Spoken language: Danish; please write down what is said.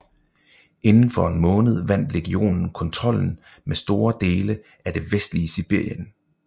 Inden for en måned vandt legionen kontrollen med store dele af det vestlige Sibirien